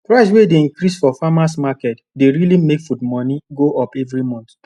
price wey dey increase for farmers market dey really make fud moni go up everi month